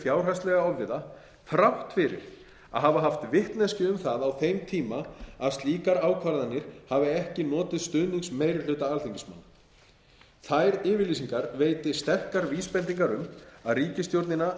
fjárhagslega ofviða þrátt fyrir að hafa haft vitneskju um það á þeim tíma hafi slíkar ákvarðanir hafi ekki notið stuðnings meiri hluta alþingismanna þær yfirlýsingar veiti sterkar vísbendingar um að ríkisstjórnina hafi